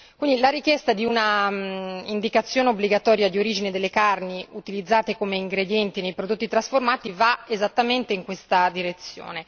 Quindi, la richiesta di un'indicazione obbligatoria d'origine delle carni utilizzate come ingredienti nei prodotti trasformati va esattamente in questa direzione.